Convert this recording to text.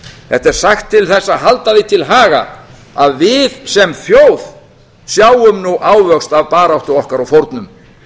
þetta er sagt til þess að halda því til haga að við sem þjóð sjáum nú ávöxt af baráttu okkar og fórnum